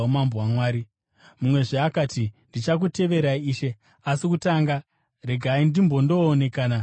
Mumwezve akati, “Ndichakuteverai, Ishe; asi kutanga regai ndimbondoonekana nemhuri yangu.”